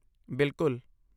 ਬਿਲਕੁੱਲ।